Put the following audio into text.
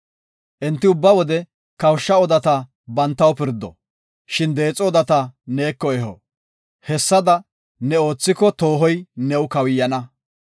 Enti ubba wode kawushsha odata bantaw pirdo, shin deexo odata neeko eho. Hessada ne oothiko toohoy new kawuyana.